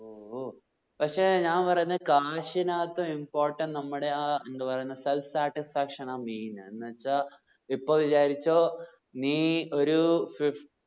ഓ ഓ. പക്ഷെ ഞാൻ പറയുന്നു cash നാട്ടു important നമ്മുടെ self satisfaction ആ main എന്ന് വെച്ചാ ഇപ്പൊ വിചാരിച്ചോ നീ ഒരു fifty